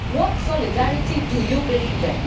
What solidarity do you believe in?